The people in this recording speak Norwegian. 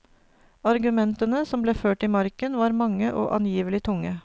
Argumentene som ble ført i marken, var mange og angivelig tunge.